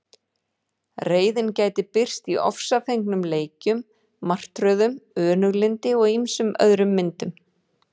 Reiðin gæti birst í ofsafengnum leikjum, martröðum, önuglyndi og ýmsum öðrum myndum.